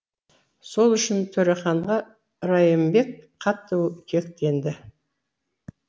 сол үшін төреханға райымбек қатты кектенеді